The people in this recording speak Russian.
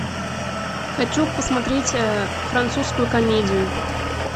хочу посмотреть французскую комедию